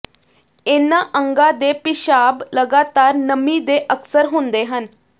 ਇਹਨਾਂ ਅੰਗਾਂ ਦੇ ਪਿਸ਼ਾਬ ਲਗਾਤਾਰ ਨਮੀ ਦੇ ਅਕਸਰ ਹੁੰਦੇ ਹਨ